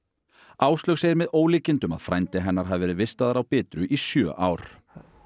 Áslaug segir með ólíkindum að frændi hennar hafi verið vistaður á Bitru í sjö ár